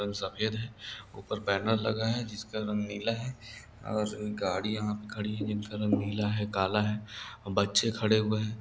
रंग सफ़ेद है ऊपर बैनर लगा है जिसका रंग नीला है और गड़ियां यहां पे खड़ी हैं जिनका रंग नीला है काला है और बच्चे खड़े हुये हैं।